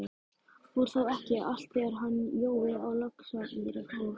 Fór þá ekki alt þegar hann Jói á Laxamýri fór?